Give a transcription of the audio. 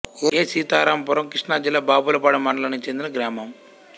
ఏ సీతారాంపురం కృష్ణా జిల్లా బాపులపాడు మండలానికి చెందిన గ్రామం